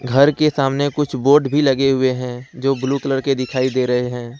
घर के सामने कुछ बोर्ड भी लगे हुए हैं जो ब्लू कलर के दिखाई दे रहे हैं।